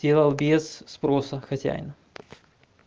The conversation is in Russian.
сделал без спроса хозяин